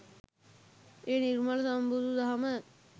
ඒ නිර්මල සම්බුදු දහම